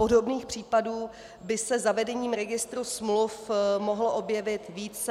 Podobných případů by se zavedením registru smluv mohlo objevit více.